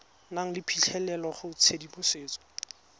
nang le phitlhelelo go tshedimosetso